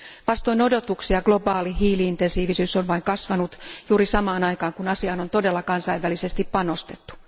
Vastoin odotuksia globaali hiili intensiivisyys on vain kasvanut juuri samaan aikaan kun asiaan on todella kansainvälisesti panostettu.